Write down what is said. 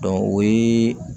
o ye